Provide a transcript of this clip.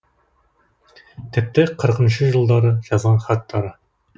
тіпті қырқыншы жылдары жазған хаттары